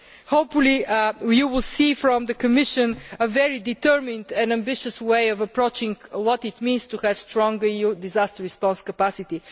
your voice'. Hopefully, you will see from the Commission a very determined and ambitious way of approaching what it means to have a strong EU disaster response